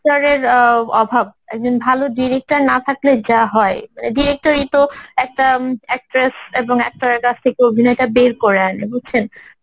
director অ্যাঁ অভাব একজন ভালো director না থাকলে যা হয় director ই তো একটা actor~ actress এবং actor এর কাছ থেকে অভিনয়টা বের করে আনবে বুঝছেন